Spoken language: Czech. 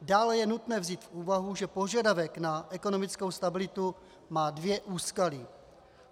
Dále je nutné vzít v úvahu, že požadavek na ekonomickou stabilitu má dvě úskalí.